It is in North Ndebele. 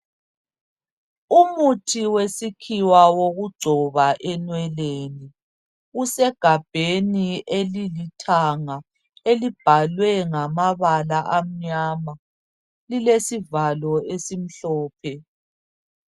umuthi wesikhiwa wokugcoba enweleni usegabheni elilithanga elibhaklwe ngamabala amnyama lilesivalo esimhlophe